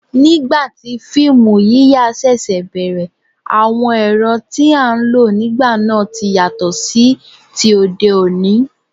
Nígbà tí fíìmù yíyà ṣẹ̀ṣẹ̀ bẹ̀rẹ̀, àwọn ẹ̀rọ tí a ń lò nígbà náà ti yàtọ̀ sí ti òde òní